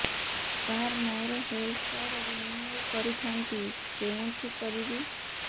ସାର ମୋର health card renew କରିଥାନ୍ତି କେଉଁଠି କରିବି